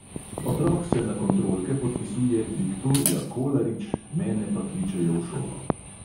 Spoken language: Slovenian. Otrok se na kontrolke podpisuje viktorija kolarič, mene pa kličejo v šolo.